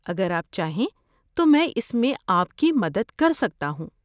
اگر آپ چاہیں تو میں اس میں آپ کی مدد کر سکتا ہوں۔